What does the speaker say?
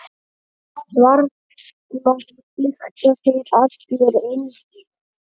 Varla lykta þeir allir eins.